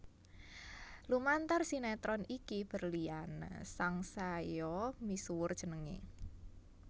Lumantar sinetron iki berliana sangsaya misuwur jenengé